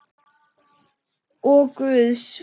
Og Guðs.